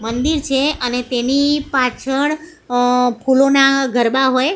મંદિર છે અને તેની પાછળ અ ફૂલોના ગરબા હોય.